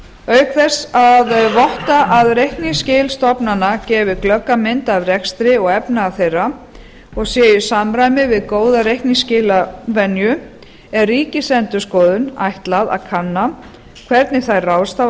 auk þess að votta að reikningsskil stofnana gefi glögga mynd af rekstri og efnahag þeirra og sé í samræmi við góða reikningsskilavenju er ríkisendurskoðun ætlað að kanna hvernig þær ráðstafa